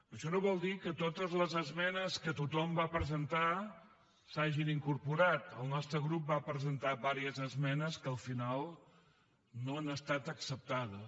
això no vol dir que totes les esmenes que tothom va presentar s’hi hagin incorporat el nostre grup va presentar diverses esmenes que al final no han estat acceptades